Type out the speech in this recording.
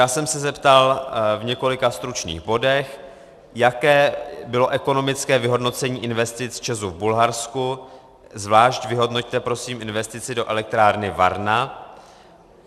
Já jsem se zeptal v několika stručných bodech, jaké bylo ekonomické vyhodnocení investic ČEZu v Bulharsku, zvlášť vyhodnoťte prosím investici do elektrárny Varna.